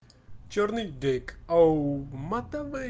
чёрный дейк а у матовый